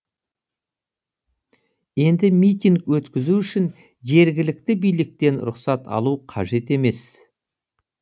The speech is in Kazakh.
енді митинг өткізу үшін жергілікті биліктен рұқсат алу қажетемес